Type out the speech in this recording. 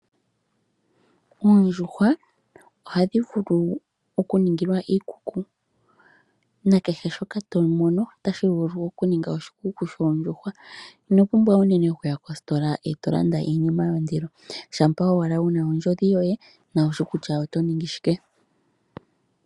Oondjuhwa ohadhi vulu okuningilwa iikuku na kehe shoka to mono otashi vulu okuninga oshikuku shoondjuhwa ino pumbwa unene okuya kositola e to landa iinima yondilo shampa owala wu na ondjodhi yoye nowushi kutya oto ningi shike.